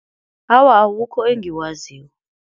Awa akukho engikwaziko.